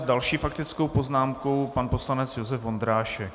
S další faktickou poznámkou pan poslanec Josef Vondrášek.